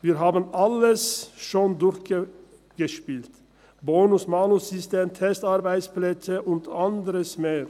Wir haben alles schon durchgespielt, Bonus-Malus-System, Testarbeitsplätze und anders mehr.